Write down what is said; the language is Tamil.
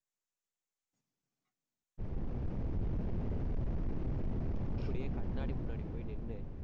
அப்படியே கண்ணாடி முன்னாடி போய் நின்னு,